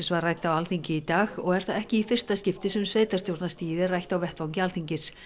var rædd á Alþingi í dag og er það ekki í fyrsta skipti sem sveitarstjórnarstigið er rætt á vettvangi Alþingis